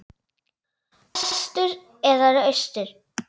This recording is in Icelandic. Vestur eða austur?